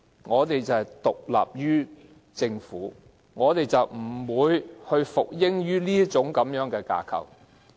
我們不但獨立於政府，而且不會服膺於這個架構。